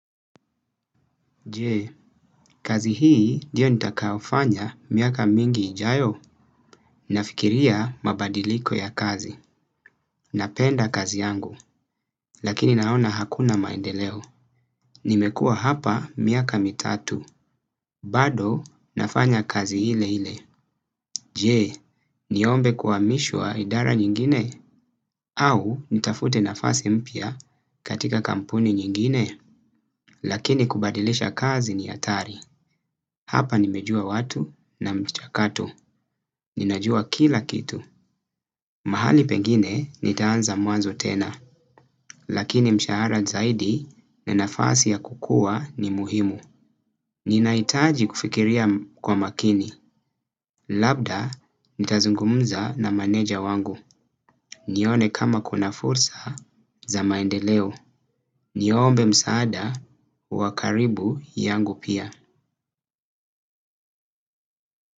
Jee, kazi hii ndio nitakayofanya miaka mingi ijayo, nafikiria mabadiliko ya kazi, napenda kazi yangu, lakini naona hakuna maendeleo. Nimekua hapa miaka mitatu, bado nafanya kazi ile ile. Jee, niombe kuamishwa idara nyingine, au nitafute nafasi mpya katika kampuni nyingine, lakini kubadilisha kazi ni hatari. Hapa nimejua watu na mchakato. Ninajua kila kitu. Mahali pengine nitaanza mwanzo tena. Lakini mshahara zaidi na nafasi ya kukua ni muhimu. Ninahitaji kufikiria kwa makini. Labda nitazungumza na maneja wangu. Nione kama kuna fursa za maendeleo. Niombe msaada wakaribu yangu pia.